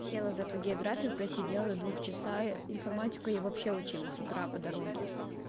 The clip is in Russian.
села за эту географию просидела до двух часа информатику я вообще учила с утра по дороге